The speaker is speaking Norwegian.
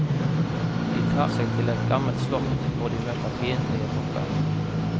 De tar seg til et gammelt slott hvor de møter fiendtlige tropper.